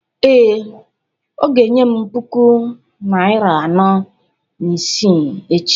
Ee, ọ ga-enye m puku naịra anọ na isii echi